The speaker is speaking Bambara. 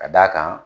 Ka d'a kan